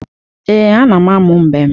Ee, ana m amụ mbem.